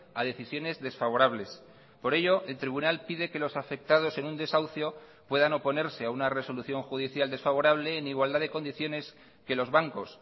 a decisiones desfavorables por ello el tribunal pide que los afectados en un desahucio puedan oponerse a una resolución judicial desfavorable en igualdad de condiciones que los bancos